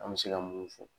An bɛ se ka mun fɔ